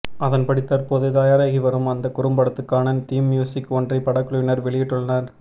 அதன்படி தற்போது தயாராகி வரும் அந்த குறும்படத்துக்கான தீம் மியூசிக் ஒன்றை படக்குழுவினர் வெளியிட்டுள்ளனர்